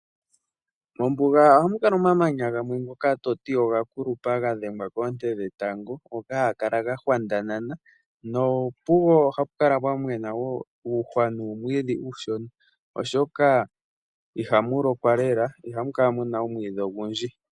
Mombuga ohamu kala omamanya omanene ngoka to ti oga kulupa, ga dhengwa koonte dhetango, ngoka haga kala ga hwandanana. No pugo ohapu kala pwa mena wo uuhwa nuumwiidhi uushona. Oshoka ihamu lokwa lela, ihamu kala muna omwiidhi ogundji.